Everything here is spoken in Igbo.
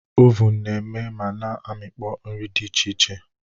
Ovun na-eme ma na amịkpọ nri dị iche iche.